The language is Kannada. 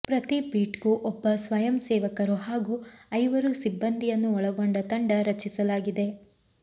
ಪ್ರತಿ ಬೀಟ್ಗೂ ಒಬ್ಬ ಸ್ವಯಂಸೇವಕರು ಹಾಗೂ ಐವರು ಸಿಬ್ಬಂದಿಯನ್ನು ಒಳಗೊಂಡ ತಂಡ ರಚಿಸಲಾಗಿದೆ